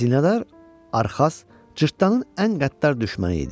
Xəzinədar Arxaz cırtdanın ən qəddar düşməni idi.